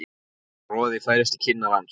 Roði færist í kinnar hans.